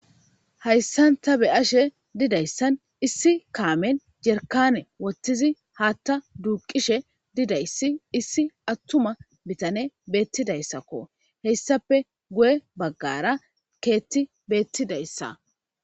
Haysaanta be'ashe didaysan issi kaamen jerkanne wothidi haatha duqishe didayssi issi atuma bitaney beetidaysakko hesappe guye bagara keththi beetidaysa.